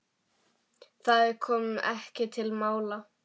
Það kom ekki til mála.